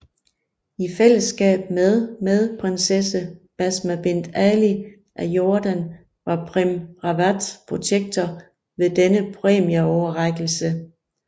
I fællesskab med med Prinsesse Basma Bint Ali af Jordan var Prem Rawat protektor ved denne præmieoverrækkelse